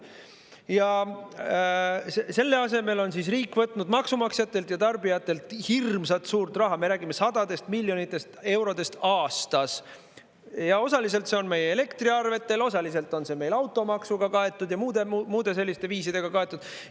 " Ja selle asemel on riik võtnud maksumaksjatelt ja tarbijatelt hirmsat suurt raha, me räägime sadadest miljonitest eurodest aastas, osaliselt see on meie elektriarvetel, osaliselt on see meil automaksuga kaetud ja muude selliste viisidega kaetud.